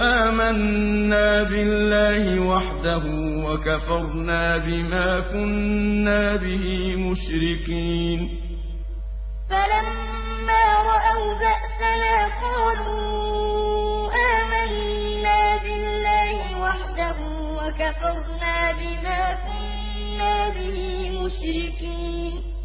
آمَنَّا بِاللَّهِ وَحْدَهُ وَكَفَرْنَا بِمَا كُنَّا بِهِ مُشْرِكِينَ فَلَمَّا رَأَوْا بَأْسَنَا قَالُوا آمَنَّا بِاللَّهِ وَحْدَهُ وَكَفَرْنَا بِمَا كُنَّا بِهِ مُشْرِكِينَ